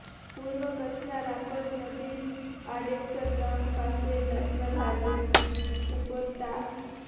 પૂર્વ કચ્છના રાપર નજીક આડેસર ગામ પાસે નેશનલ હાઈવે ઉપર તા